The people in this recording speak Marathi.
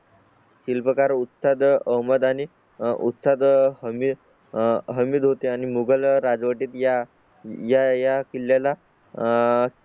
शिल्पकार उत्तर अहमद आणि उत्साह कमी हमीद होते आणि मोगल राजवटीत या या या किल्ल्या ला आह